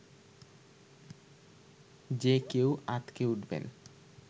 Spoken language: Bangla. যে কেউ আঁতকে উঠবেন